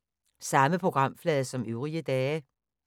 Samme programflade som øvrige dage